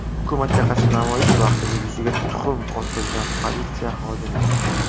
Hukumatga qarshi namoyish vaqtida yuziga tuxum otilgan politsiya xodimi.